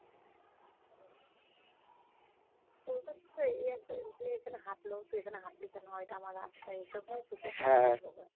কলকাতাতে এই একজন যে এখানে হাটলো তুই এখানে হাঁটলি কেন, এটা আমার রাস্তা, এইসব নিয়েই ঝগড়া